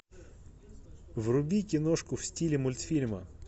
вруби киношку в стиле мультфильма